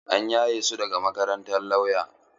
An yaye su daga makarantar lauya.